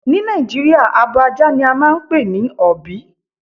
Ni Nàìjíríà, abò àjà ni à máà npè ní ọ̀bí.